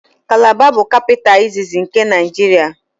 Kalaba bụ kapịta iziz nke Naịjiria